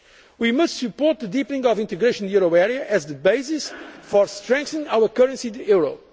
Treaties. We must support the deepening of integration in the euro area as the basis for strengthening our currency,